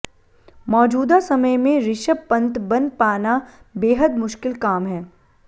मौजूदा समय में ऋषभ पंत बन पाना बेहद मुश्किल काम है